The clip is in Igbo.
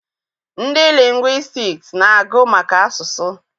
Ndị lingwistiks na-agụ maka asụsụ.